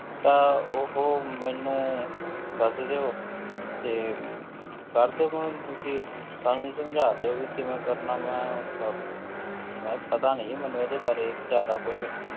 ਤਾਂ ਉਹ ਮੈਨੂੰ ਦੱਸ ਦਿਓ ਤੇ ਕਰ ਦਿਓ ਕਿਉਂਕਿ ਸਾਨੂੰ ਸਮਝਾ ਦਿਓ ਵੀ ਕਿਵੇਂ ਕਰਨਾ ਵਾਂ ਪ~ ਵੈਸੇ ਪਤਾ ਨੀ ਜੀ ਮੈਨੂੰ ਇਹਦੇ ਬਾਰੇ ਜ਼ਿਆਦਾ ਕੁਛ,